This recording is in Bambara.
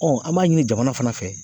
an b'a ɲini jamana fana fɛ